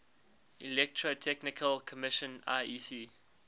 electrotechnical commission iec